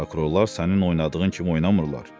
Prokurorlar sənin oynadığın kimi oynamırlar.